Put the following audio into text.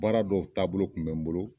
Baara dɔw taabolo kun mɛ n bolo